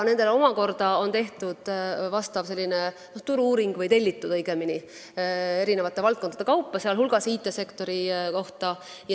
Nendel on omakorda tehtud või õigemini tellitud vastav turu-uuring eri valdkondade kaupa, sh IT-sektori kohta.